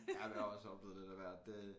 Jamen jeg har også oplevet lidt af hvert det